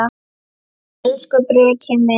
Elsku Breki minn.